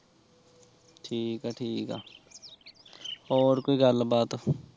ਠੀਕ ਆ ਠੀਕ ਆ ਹੋਰ ਕੋਈ ਗੱਲ ਬਾਤ